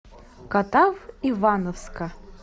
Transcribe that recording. катав ивановска